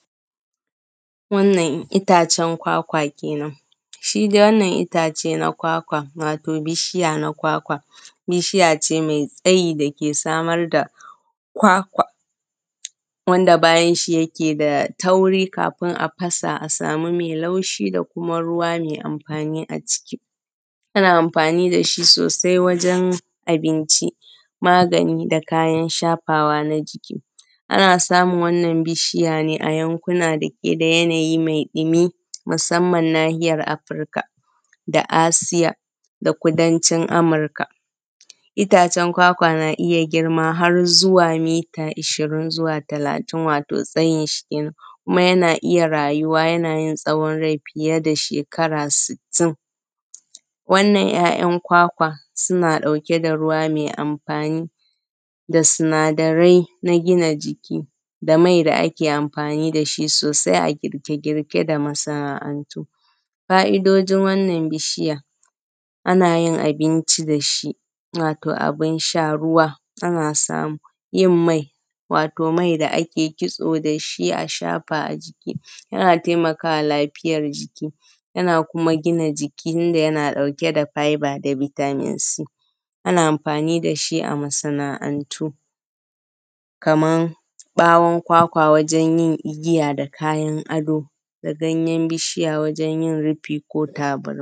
Wannan itacen kwakwa kenan, shi dai wannan itacen kwakwa wato bishiya na kwakwa, bishiya ce mai tsayi dake samar da kwakwa wanda bayan shi yake da tauri, kafin a fasa a samu mai laushi da kuma ruwa mai amfani a ciki. Ana amfani dashi sosai wajen abinci, magani da kayan shafawa na jiki, ana samun wannan bishiya ne a yankuna dake da yanayi mai dumi, musamman nahiyar Afrika, da Asiya da kudancin amurka. Ita itacen kwakwa na iya girma har zuwa mita ishirin zuwa talatin, wato tsayinshi kenen, kuma yana iya yin rayuwa yana iya yin tsawon rai fiye da shekara sittin. Wannan ‘ya’yan kwakwan suna ɗauke da ruwa mai amfani da sinadarai na gina jiki, da mai da ake amfani dashi sosai a girke-girke da masana’antu. Fa’idojin wannan bishiya, ana yin abinci dashi, wato abin sha, ruwa ana samu. Yin mai wato mai da ake kitso dashi a shafa a jiki, yana taimakawa lafiyar jiki, yana kuma gina jiki tunda yana ɗauke da faiba da vitamin c, ana amfani dashi a masana’antu kaman bawon kwakwa wajen yin igiya da kayan ado, da ganyen bishiya wajen yin rufi ko tabarma.